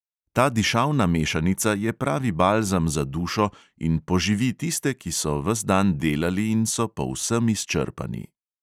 Ta dišavna mešanica je pravi balzam za dušo in poživi tiste, ki so ves dan delali in so povsem izčrpani.